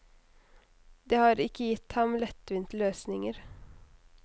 Det har ikke gitt ham lettvinte løsninger.